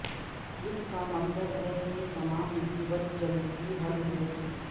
اس کا مطلب ہے کہ تمام مصیبت جلد ہی حل ہو گی